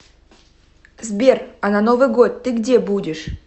сбер а на новый год ты где будешь